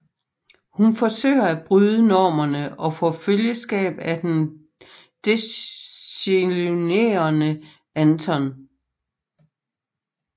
Hun forsøger at bryde normerne og får følgeskab af den desillusionerede Anton